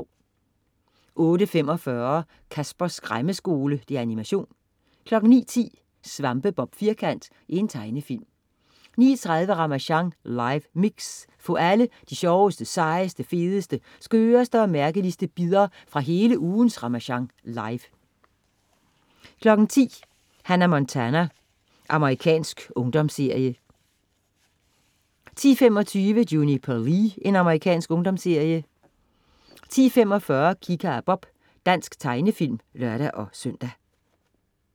08.45 Caspers Skræmmeskole. Animation 09.10 SvampeBob Firkant. Tegnefilm 09.30 Ramasjang live mix. Få alle de sjoveste, sejeste, fedeste, skøreste og mærkeligste bidder fra hele ugens "Ramasjang live" 10.00 Hannah Montana. Amerikansk ungdomsserie 10.25 Juniper Lee. Amerikansk ungdomsserie 10.45 Kika og Bob. Dansk tegnefilm (lør-søn)